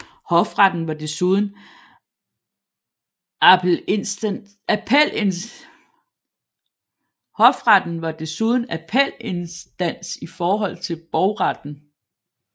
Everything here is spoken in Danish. Hofretten var desuden appelinstans i forhold til Borgretten